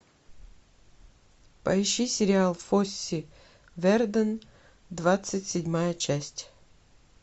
поищи сериал фосси вердон двадцать седьмая часть